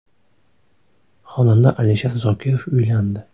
Xonanda Alisher Zokirov uylandi.